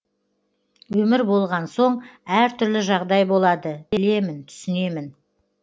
өмір болған соң әр түрлі жағдай болады білемін түсінемін